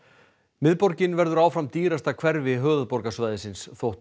miðborgin verður áfram dýrasta hverfi höfuðborgarsvæðisins þótt